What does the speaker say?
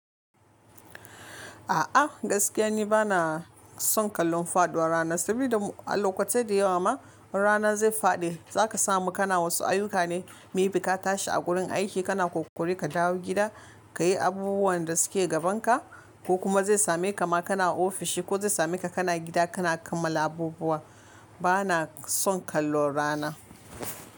A'a gaskiya ni bana son kallon faduwar rana, saboda a lokaci da yawa ma rana zai faɗi za ka samu kana wasu ayyuka ne, mebi ka tashi a gurin aiki kana kokori ka dawo gida ka yi abubuwan da suke gabanka ko kuma zai same ka ma kana ofishi ko zai same ka kana gida kana kammala abubuwa. Bana son kallon rana.